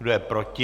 Kdo je proti?